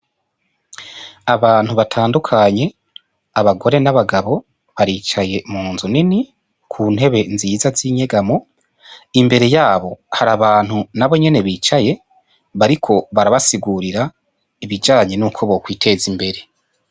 Abantu batandukanye, abagore n'abagabo, baricaye mu nzu nini ku ntebe nziza z'inyegamo, imbere yabo hari abantu nabo nyene bicaye bariko barabasigurira ibijanye nuko bokwiteza imbere.